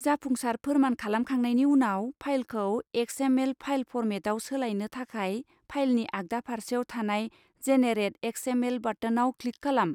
जाफुंसार फोरमान खालामखांनायनि उनाव, फाइलखौ एक्स.एम.एल. फाइल फर्मेटाव सोलायनो थाखाय फाइलनि आगदा फारसेयाव थानाय 'जेनेरेट एक्स.एम.एल.' बाटोनाव क्लिक खालाम।